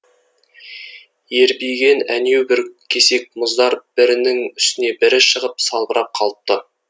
ербиген әнеубір кесек мұздар бірінің үстіне бірі шығып салбырап қалыпты